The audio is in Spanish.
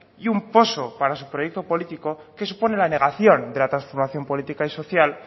y un poso para su proyecto político que supone la negación de la transformación política y social